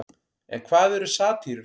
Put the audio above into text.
En hvað eru satírur?